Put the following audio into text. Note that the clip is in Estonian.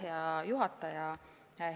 Hea juhataja!